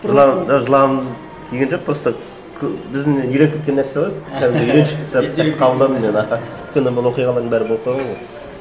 жылағым даже жылағым келген жоқ просто біздің үйреніп кеткен нәрсе ғой кәдімгі үйреншікті сәт деп қабылдадым мен аха өйткені бұл оқиғалардың бәрі болып қойған ғой